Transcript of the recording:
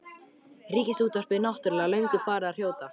Ríkisútvarpið náttúrlega löngu farið að hrjóta.